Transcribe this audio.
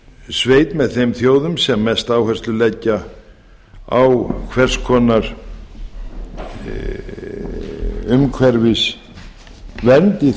sveit með þeim þjóðum sem mesta áherslu á hvers konar umhverfisvernd í